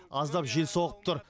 аздап жел соғып тұр